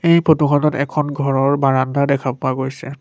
এই ফটো খনত এখন ঘৰৰ বাৰণ্ডা দেখা পোৱা গৈছে।